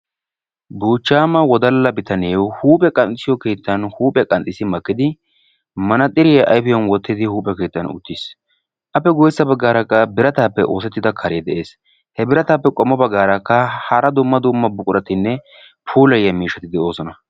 Buchchama wodalla bitanee huuphiya qanxxissiyo keettan huuphiyaa qanxxis makiid manaxiriyaa ayfiyan wottidi huuph e keettan uttiis. appe guyyesa baggra biratanppe oosetiida kare de'es. he biratappe qommo baggarakka hara dumma dumma buquratinne pulayiyya miishshati de'oosona.